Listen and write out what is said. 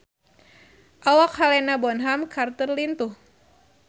Awak Helena Bonham Carter lintuh